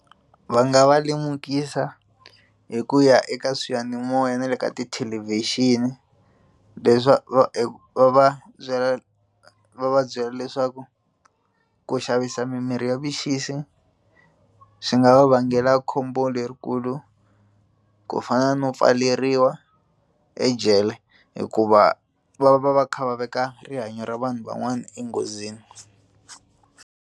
Va nga va lemukisa hi ku ya eka swiyanimoya na le ka tithelevhixini va va va byela va va byela leswaku ku xavisa mimirhi ya vuxisi swi nga va vangela khombo lerikulu ku fana no pfaleriwa ejele hikuva va va va kha va veka rihanyo ra vanhu van'wana enghozini.